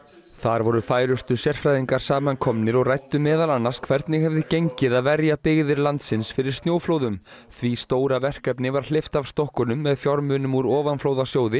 þar voru færustu sérfræðingar samankomnir og ræddu meðal annars hvernig hefði gengið að verja byggðir landsins fyrir snjóflóðum því stóra verkefni var hleypt af stokkunum með fjármunum úr ofanflóðasjóði